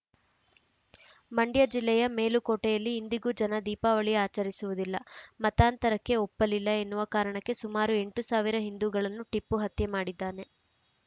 ಮಂಡ್ಯ ಜಿಲ್ಲೆಯ ಮೇಲುಕೋಟೆಯಲ್ಲಿ ಇಂದಿಗೂ ಜನ ದೀಪಾವಳಿ ಆಚರಿಸುವುದಿಲ್ಲ ಮತಾಂತರಕ್ಕೆ ಒಪ್ಪಲಿಲ್ಲ ಎನ್ನುವ ಕಾರಣಕ್ಕೆ ಸುಮಾರು ಎಂಟು ಸಾವಿರ ಹಿಂದೂಗಳನ್ನು ಟಿಪ್ಪು ಹತ್ಯೆ ಮಾಡಿದ್ದಾನೆ